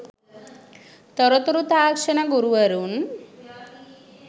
තොරතුරු තාක්ෂණ ගුරුවරුන්